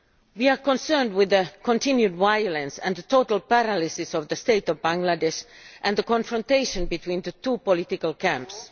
We are concerned at the continued violence, the total paralysis of the state of Bangladesh and the confrontation between the two political camps.